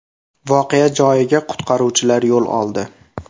Voqea joyiga qutqaruvchilar yo‘l oldi.